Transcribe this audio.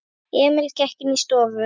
Emil gekk inní stofu.